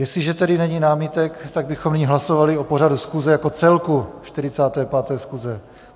Jestliže tedy není námitek, tak bychom nyní hlasovali o pořadu schůze jako celku 45. schůze.